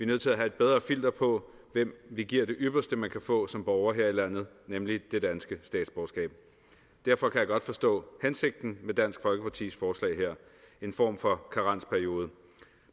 nødt til at have et bedre filter på hvem vi giver det ypperste man kan få som borger her i landet nemlig det danske statsborgerskab derfor kan jeg godt forstå hensigten med dansk folkepartis forslag her en form for karensperiode